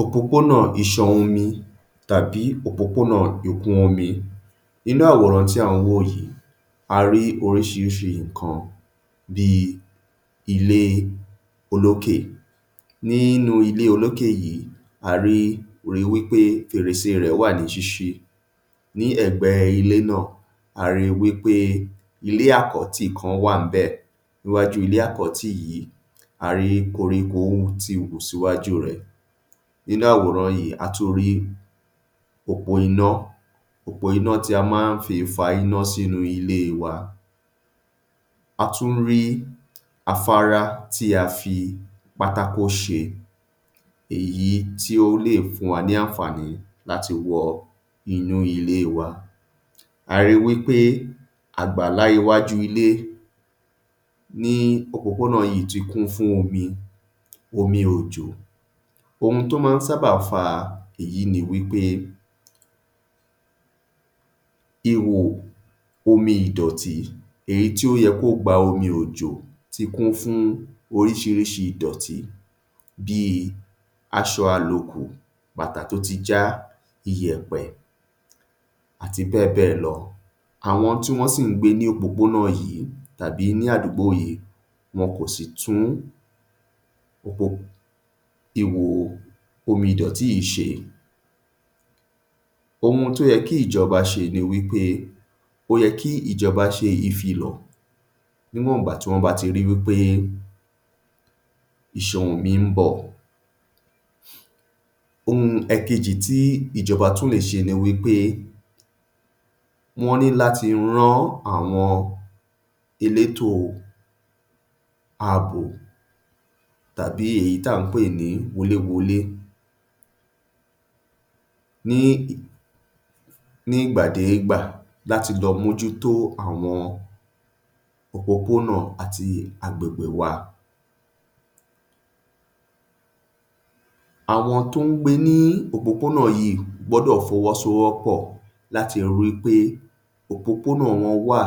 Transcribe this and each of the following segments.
Òpópónà iṣan omi tàbí òpópónà ikùn omi. Inú àwòrán tí à ń wò yìí, a rí oríṣiríṣi nǹkan bí i ilé olókè. Ní inú ilé olókè yìí, a rí, ri wí pé fèrèsé rẹ̀ wà ní ṣíṣí, ní ẹ̀gbẹ́ ilé náà, a rí i wí pé ilé àkọ́tì kan wà ńbẹ̀. Níwájú ilé àkótì yìí, a rí koríko ti wù síwájú rẹ̀. Nínú àwòrán yìí, a tún rí òpó iná, òpó iná tí a máá fi ń fa iná sínú ilé wa, a tún rí afárá tí a fi pátákó ṣe, èyí tí ó lè fún wa ní àǹfààní láti wọ inú ilé wa. A rí wí pé àgbàlá yìí wà ní iwájú ilé, òpópónà yìí ti kun fún omi - omi òjò. Ohun tó má ń sábà fa èyí ni wí pé ihò omi ìdọ̀tí èyí tí ó yẹ kó gba omi òjò ti kún fún oríṣiríṣi ìdọ̀tí bí i aṣo àlòkù, bàtà tó ti já, iyẹ̀pẹ̀ àti bẹ́ẹ̀ bẹ́ẹ̀ lọ. Àwọn tí wón sì ń gbé ní òpópónà yìí àbí àdúgbò yìí, wọn kò sì tún ihò omi ìdọ̀tí yìí ṣe. Ohun tó yẹ kí ìjọba ṣe ni wí pé ó yẹ kí ìjọba ṣe ìfìlọ̀ níwònba ìgbà tán bá ti rí i wí pé iṣan omi ń bọ̀. Ohun èkejì tí ìjọba tún lè ṣe òhun ni wí pé wọ́n ní láti rán àwọn elétò àbò èyí tí à ń pè ní wolé-wolé ní ní ìgbà dégbà láti lọ mójútó àwọn òpópónà àti agbègbè wa. Àwọn tó ń gbé ní òpópónà yíì gbọ́dọ̀ fọwọ́sowọ́pọ̀ láti rí pé òpópónà wọn wà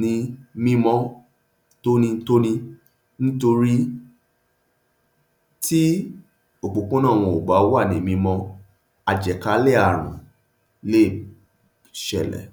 ní mímọ́ tóní-tóní ńtorí tí òpópónà wọn ó bá wà ní mímọ́, àjàkálẹ̀ ààrùn lè ṣẹlẹ̀.